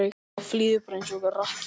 Já, flýðu bara eins og rakki.